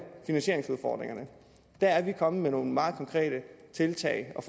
finansieringsudfordringen der er vi kommet med nogle meget konkrete tiltag og